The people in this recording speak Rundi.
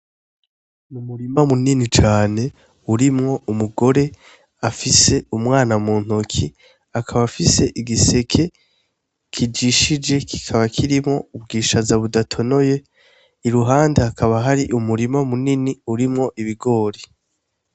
Umurima munini cane urimwo umugore afise umwana muntoke akaba afise igiseke kijishije kikaba kirimwo ubwishaza budatonoye iruhande hakaba hari umurima munini urimwo ibigori.